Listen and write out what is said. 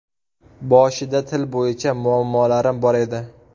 Boshida til bo‘yicha muammolarim bor edi.